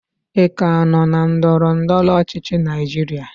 ị ka nọ na ndọrọ ndọrọ ọchịchị Naijiria?